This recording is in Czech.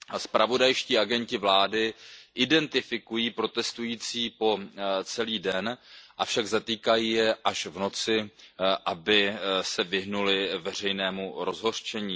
Zpravodajští agenti vlády identifikují protestující po celý den, avšak zatýkají je až v noci, aby se vyhnuli veřejnému rozhořčení.